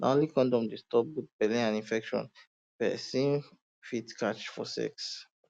na only condom dey stop both belle and infection wey person fit catch for sex